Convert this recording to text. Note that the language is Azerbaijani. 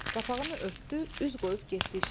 Qapağını örtdü, üz qoyub getdi işinə.